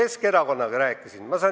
Rääkisin ka Keskerakonnaga.